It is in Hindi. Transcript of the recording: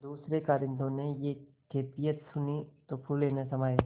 दूसरें कारिंदों ने यह कैफियत सुनी तो फूले न समाये